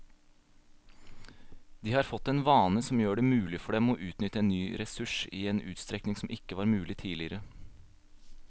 De har fått en vane som gjør det mulig for dem å utnytte en ny ressurs i en utstrekning som ikke var mulig tidligere.